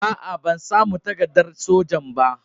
Aa, ban samu takaddan sojan ba.